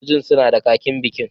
Sojojin suna da kakin bikin